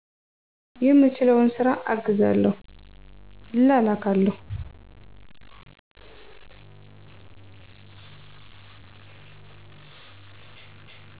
የምችለውን ስራ አግዛለሁ፤ እላላካለሁ።